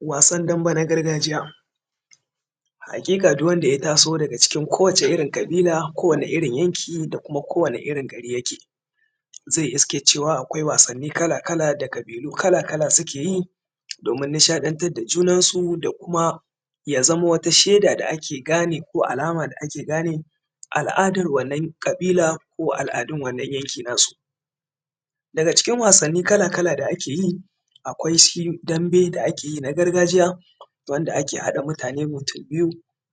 wasan dambe na gargajiya hakika duk wanda ya taso daga ʧikin ko wata irrin kabila ko wane irrin yanki da kuma ko wane irrin gari yake zai iske cewa akwai wasanni kala kala da kabilu kala kala sukeyi domin nishadan tareda ʤunansu da kuma yazama wata sheda da ake gane ko alama da ake gane al’ adan wannan kabila ko al’adan wannan yanki nasu daga cikin wasanni kala kala da akeyi akwai shidam be da akeyi na gargaʤiya wanda ake hada mutane mutun biyu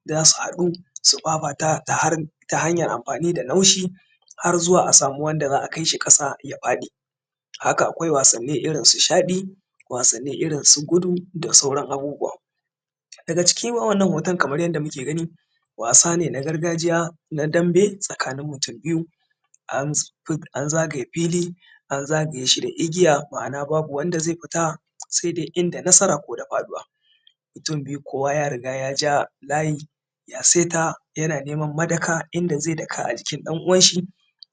dansu hadu su fafata ta hanyar amfani da naushi har zuwa a sami wanda za’a kaishi kasa ya fadi akwai wasanni irrin su shadi akwai wasanni irrin su gudu da dai sauran abubuwa daga cikin wannan hoton kaman yanda muke gani wasa ne na gargaʤiya na dambe tsakanin mutum biyu an zagaye fili an zagayeshi da igiya ma’ana babu wanda zai fita saidai inda nasara koda faduwa mutun biyu kowa ya riga yaja layi ya saita yana neman madaka inda zai daka a jikin dan uwan shi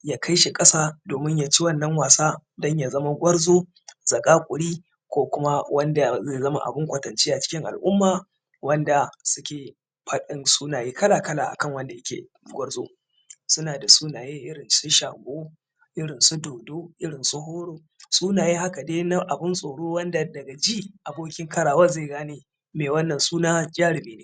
ya kaishi kasa domin yaci wannan wasa danya zama gwarzo zakakuri ko kuma wanda zai zama abun kwatance a cikin al’umma wadda suke fadin sunaye kala kala akan wanda yake gwarzo suna daʤ sunaye irrin shago irrin su dundu sunaye haka dai na abun tsoro wanda daga ji abokin karawan zai gane me wannan suna jarimi ne